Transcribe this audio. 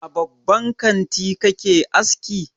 A babban kanti kake aski?